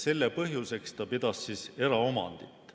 Selle põhjuseks pidas Marx eraomandit.